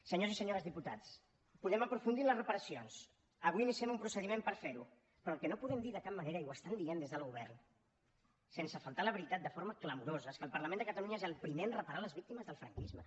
senyors i senyores diputats podem aprofundir en les reparacions avui iniciem un procediment per fer ho però el que no podem dir de cap manera i ho estan dient des del govern sense faltar a la veritat de forma clamorosa és que el parlament de catalunya és el primer a reparar les víctimes del franquisme